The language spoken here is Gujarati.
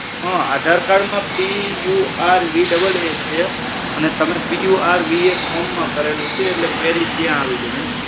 હા આધાર કાર્ડ માં purvaa છે. purva ફોમ માં કરેલું છે એટલે query ત્યાં આવી છે.